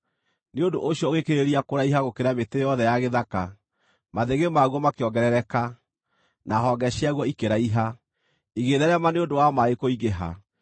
Nĩ ũndũ ũcio ũgĩkĩrĩrĩria kũraiha gũkĩra mĩtĩ yothe ya gĩthaka; mathĩgĩ maguo makĩongerereka, na honge ciaguo ikĩraiha, igĩtheerema nĩ ũndũ wa maaĩ kũingĩha.